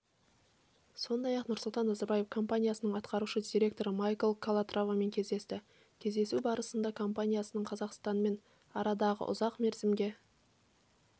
сондай-ақ нұрсұлтан назарбаев компаниясының атқарушы директоры майкл калатравамен кездесті кездесу барысында компанияның қазақстанмен арадағы ұзақ мерзімге